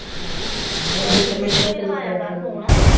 ਫਿਰ ਤੇ ਤੈਨੂੰ ਕਰੀਏ ਕਰੂਗੀ ਫੋਨ।